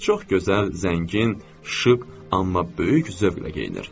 Çox gözəl, zəngin, şıq, amma böyük zövqlə geyinir.